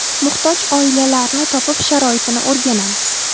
Muhtoj oilalarni topib, sharoitini o‘rganamiz.